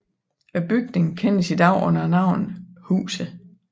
Bygningen kendes i dag under navnet Huset